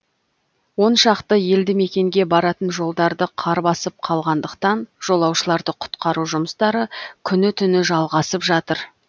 он шақты елдімекенге баратын жолдарды қар басып қалғандықтан жолаушыларды құтқару жұмыстары күні түні жалғасып жатыр